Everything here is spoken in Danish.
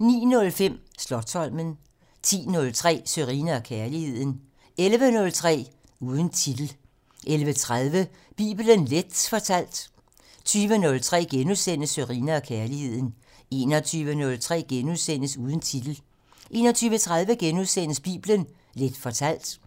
09:05: Slotsholmen 10:03: Sørine & Kærligheden 11:03: Uden titel 11:30: Bibelen Leth fortalt 20:03: Sørine & Kærligheden * 21:03: Uden titel * 21:30: Bibelen Leth fortalt